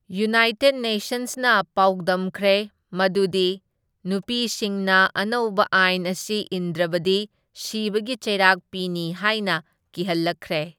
United ꯅꯦꯁꯟꯁꯅ ꯄꯥꯎꯗꯝꯈ꯭ꯔꯦ ꯃꯗꯨꯗꯤ ꯅꯨꯄꯤꯁꯤꯡꯅ ꯑꯅꯧꯕ ꯑꯥꯢꯟ ꯑꯁꯤ ꯏꯟꯗ꯭ꯔꯕꯗꯤ ꯁꯤꯕꯒꯤ ꯆꯩꯔꯥꯛ ꯄꯤꯅꯤ ꯍꯥꯢꯅ ꯀꯤꯍꯜꯂꯛꯈ꯭ꯔꯦ꯫